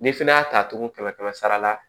N'i fɛnɛ y'a ta tugun kɛmɛ kɛmɛ sara la